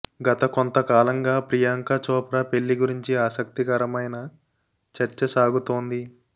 గత కొంతకాలంగా ప్రియాంక చోప్రా పెళ్లి గురించి ఆసక్తికరమైన చర్చ సాగుతోంది